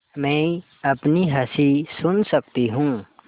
मैं अपनी हँसी सुन सकती हूँ